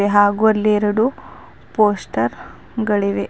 ಹಾಗು ಅಲ್ಲಿ ಎರಡು ಪೋಸ್ಟರ್ ಗಳಿವೆ.